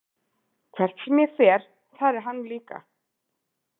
Hvert sem ég fer, þar er hann líka.